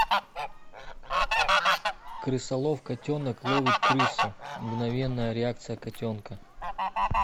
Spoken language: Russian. крысолов котенок ловит крысу мгновенная реакция котенка